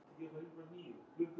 Hann elskaði líka að syngja.